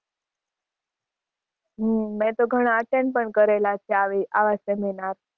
હમ મે તો ઘણાં attend પણ કરેલા છે આવી આવા seminar